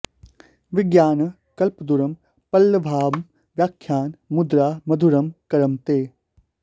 विज्ञान कल्पद्रुम पल्लवाभं व्याख्यान मुद्रा मधुरं करं ते